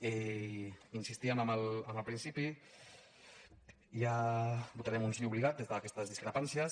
hi insistíem en el principi votarem un sí obligat des d’aquestes discrepàncies